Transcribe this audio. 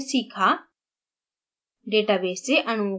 इस tutorial में हमने सीखा